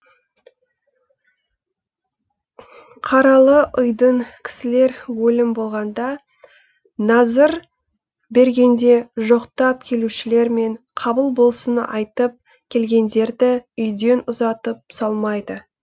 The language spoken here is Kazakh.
қаралы ұйдың кісілері өлім болғанда назыр бергенде жоқтап келушілер мен қабыл болсын айтып келгендерді үйден ұзатып салмайды